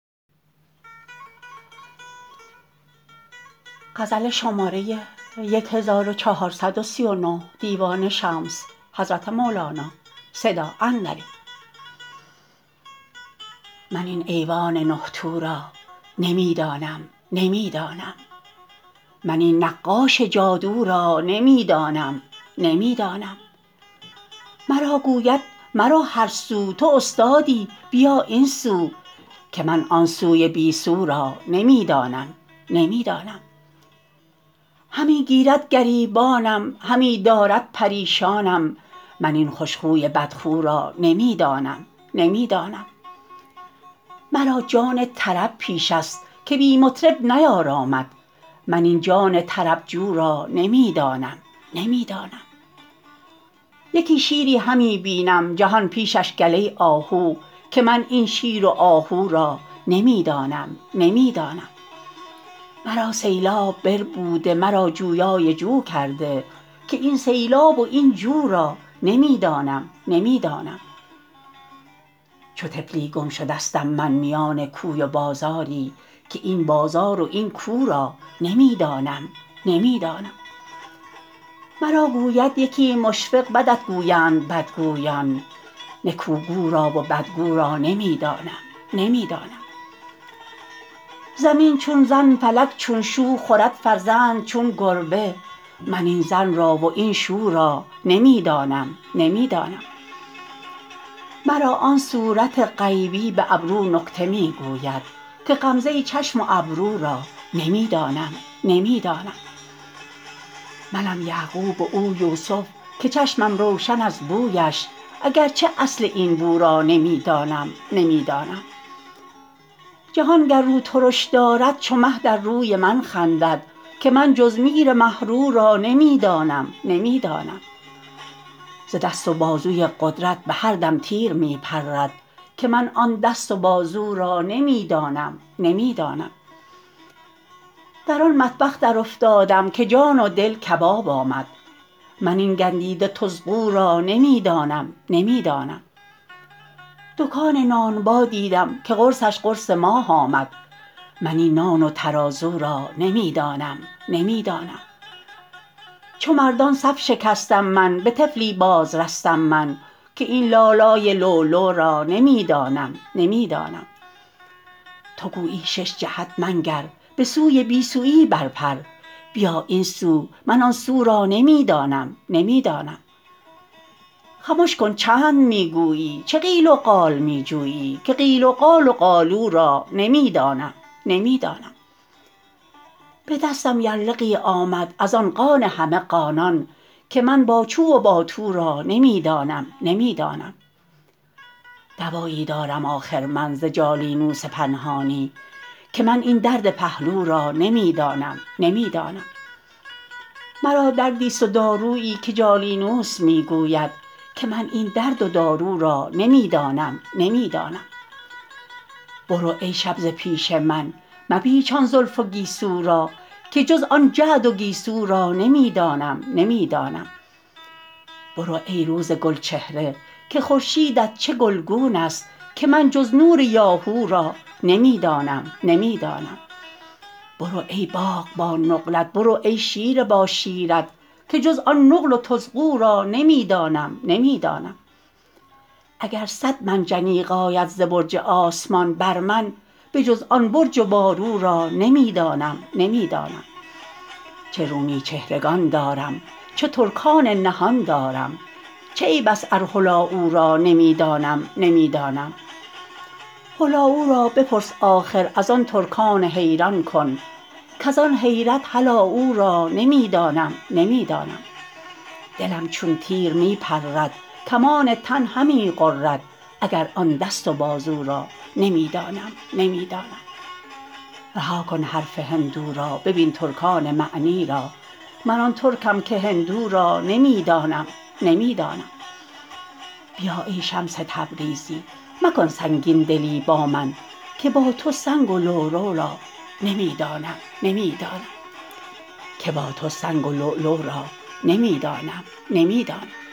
من این ایوان نه تو را نمی دانم نمی دانم من این نقاش جادو را نمی دانم نمی دانم مرا گوید مرو هر سو تو استادی بیا این سو که من آن سوی بی سو را نمی دانم نمی دانم همی گیرد گریبانم همی دارد پریشانم من این خوش خوی بدخو را نمی دانم نمی دانم مرا جان طرب پیشه ست که بی مطرب نیارامد من این جان طرب جو را نمی دانم نمی دانم یکی شیری همی بینم جهان پیشش گله آهو که من این شیر و آهو را نمی دانم نمی دانم مرا سیلاب بربوده مرا جویای جو کرده که این سیلاب و این جو را نمی دانم نمی دانم چو طفلی گم شدستم من میان کوی و بازاری که این بازار و این کو را نمی دانم نمی دانم مرا گوید یکی مشفق بدت گویند بدگویان نکوگو را و بدگو را نمی دانم نمی دانم زمین چون زن فلک چو شو خورد فرزند چون گربه من این زن را و این شو را نمی دانم نمی دانم مرا آن صورت غیبی به ابرو نکته می گوید که غمزه چشم و ابرو را نمی دانم نمی دانم منم یعقوب و او یوسف که چشمم روشن از بویش اگر چه اصل این بو را نمی دانم نمی دانم جهان گر رو ترش دارد چو مه در روی من خندد که من جز میر مه رو را نمی دانم نمی دانم ز دست و بازوی قدرت به هر دم تیر می پرد که من آن دست و بازو را نمی دانم نمی دانم در آن مطبخ درافتادم که جان و دل کباب آمد من این گندیده تزغو را نمی دانم نمی دانم دکان نانبا دیدم که قرصش قرص ماه آمد من این نان و ترازو را نمی دانم نمی دانم چو مردان صف شکستم من به طفلی بازرستم من که این لالای لولو را نمی دانم نمی دانم تو گویی شش جهت منگر به سوی بی سوی برپر بیا این سو من آن سو را نمی دانم نمی دانم خمش کن چند می گویی چه قیل و قال می جویی که قیل و قال و قالو را نمی دانم نمی دانم به دستم یرلغی آمد از آن قان همه قانان که من با چو و با تو را نمی دانم نمی دانم دوایی دارم آخر من ز جالینوس پنهانی که من این درد پهلو را نمی دانم نمی دانم مرا دردی است و دارویی که جالینوس می گوید که من این درد و دارو را نمی دانم نمی دانم برو ای شب ز پیش من مپیچان زلف و گیسو را که جز آن جعد و گیسو را نمی دانم نمی دانم برو ای روز گلچهره که خورشیدت چه گلگون است که من جز نور یاهو را نمی دانم نمی دانم برو ای باغ با نقلت برو ای شیره با شیرت که جز آن نقل و طزغو را نمی دانم نمی دانم اگر صد منجنیق آید ز برج آسمان بر من بجز آن برج و بارو را نمی دانم نمی دانم چه رومی چهرگان دارم چه ترکان نهان دارم چه عیب است ار هلاوو را نمی دانم نمی دانم هلاوو را بپرس آخر از آن ترکان حیران کن کز آن حیرت هلا او را نمی دانم نمی دانم دلم چون تیر می پرد کمان تن همی غرد اگر آن دست و بازو را نمی دانم نمی دانم رها کن حرف هندو را ببین ترکان معنی را من آن ترکم که هندو را نمی دانم نمی دانم بیا ای شمس تبریزی مکن سنگین دلی با من که با تو سنگ و لولو را نمی دانم نمی دانم